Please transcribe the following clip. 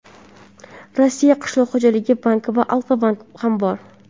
Rossiya qishloq xo‘jaligi banki va Alfa-bank ham bor.